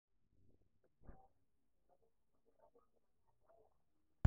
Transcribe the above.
ore enkitengena oonkoitoi ekuna olong'I toolairemok naa ene tipat